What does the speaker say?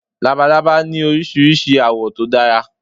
Labalábá ní Oríṣiríṣi àwọ̀ tó dára.